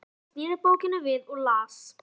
Valdimar sneri bókinni við og las